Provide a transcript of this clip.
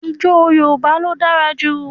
Ìjọ̀ Yorùbá ló dára jú.